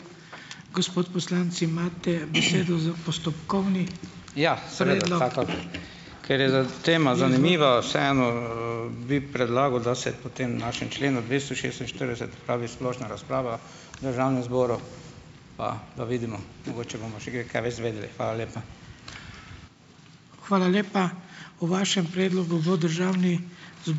Ker je za tema zanimiva, vseeno bi predlagal, da se po tem našem členu dvesto šestinštirideset opravi splošna razprava v državnem zboru, pa da vidimo, mogoče bomo še kaj kaj več izvedeli. Hvala lepa.